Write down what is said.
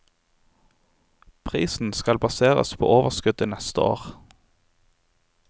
Prisen skal baseres på overskuddet neste år.